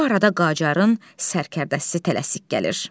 Bu arada Qacarın sərkərdəsi tələsik gəlir.